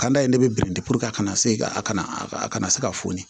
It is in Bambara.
Ka d'a ye ne bɛ biriki a kana se a kana a kana se ka foni